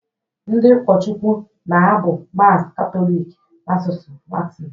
Ndị ụkọchukwu na-abụ Mass Katọlik n’asụsụ Latịn